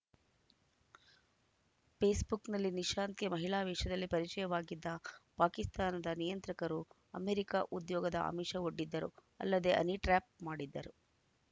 ಪೇಸ್‌ಬುಕ್‌ನಲ್ಲಿ ನಿಶಾಂತ್‌ಗೆ ಮಹಿಳಾ ವೇಷದಲ್ಲಿ ಪರಿಚಯವಾಗಿದ್ದ ಪಾಕಿಸ್ತಾನದ ನಿಯಂತ್ರಕರು ಅಮೆರಿಕ ಉದ್ಯೋಗದ ಆಮಿಷವೊಡ್ಡಿದ್ದರು ಅಲ್ಲದೆ ಹನಿಟ್ರ್ಯಾಪ್‌ ಮಾಡಿದ್ದರು